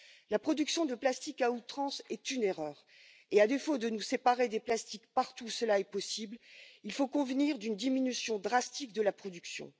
La production de plastique à outrance est une erreur et à défaut de nous séparer des plastiques partout où cela est possible, il faut convenir d'une diminution drastique de la production.